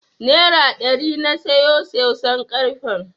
Nera ɗari na siyo soson karfen.